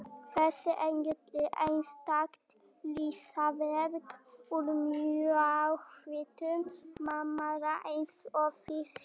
Þessi engill er einstakt listaverk úr mjallhvítum marmara eins og þið sjáið.